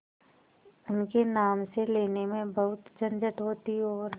उनके नाम से लेने में बहुत झंझट होती और